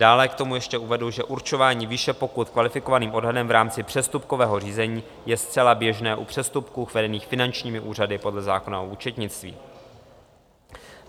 Dále k tomu ještě uvedu, že určování výše pokut kvalifikovaným odhadem v rámci přestupkového řízení je zcela běžné u přestupků vedených finančními úřady podle zákona o účetnictví.